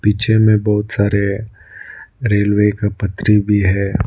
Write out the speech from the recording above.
पीछे में बहुत सारे रेलवे का पटरी भी है।